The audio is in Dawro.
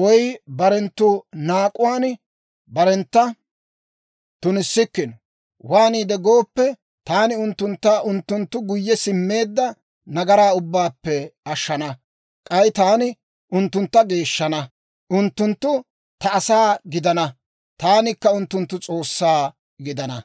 woy barenttu naak'uwaan barentta tunissikkino. Waaniide gooppe, taani unttuntta unttunttu guyye simmeedda nagaraa ubbaappe ashshana; k'ay taani unttuntta geeshshana. Unttunttu ta asaa gidana; taanikka unttunttu S'oossaa gidana.